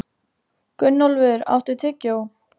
Gunnólfur, áttu tyggjó?